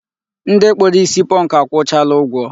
Ndị kpụrụ isi pọnkụ akwụchaala ụgwọ.